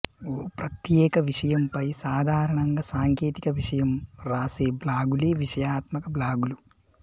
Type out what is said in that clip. ఓ ప్రత్యేక విషయంపై సాధారణంగా సాంకేతిక విషయం రాసే బ్లాగులే విషయాత్మక బ్లాగులు